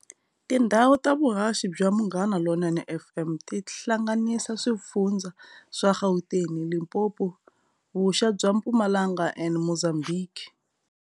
Tindhawu ta vuhaxi bya Munghana Lonene FM ti hlanganisa swifundzha swa Gauteng, Limpopo, vuxa bya Mpumalanga and Muzambhiki.